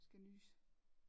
Jeg skal nyse